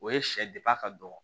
O ye sɛ ka dɔgɔ